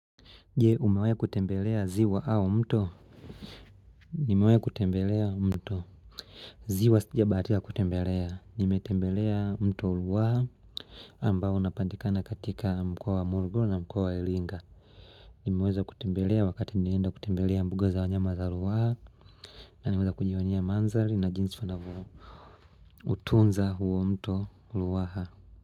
Je umewahi kutembelea zi wa au mto? Nimewahi kutembelea mto. Zwai si jabahatika kutembelea. Nimetembelea mto Ruaha. Ambao unapandikana katika mkoa wa morogoro na mkoa wa iringa. Nimeweza kutembelea wakati nsenda kutembelea mbuga za wanyama za ruaha. Naniweza kujionea mandhari na jinsi wanavyo. Utunza huo mto ruaha.